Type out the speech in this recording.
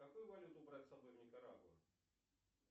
какую валюту брать с собой в никарагуа